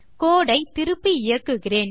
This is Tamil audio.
கோடு ஐ திருப்பி இயக்குகிறேன்